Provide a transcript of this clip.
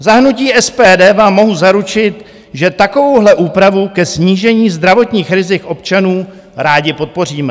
Za hnutí SPD vám mohu zaručit, že takovouhle úpravu ke snížení zdravotních rizik občanů rádi podpoříme.